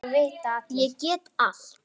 Ég get allt!